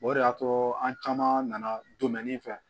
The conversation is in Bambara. O de y'a to an caman nana donmɛnin fɛ